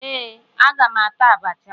Ee, aga m ata abacha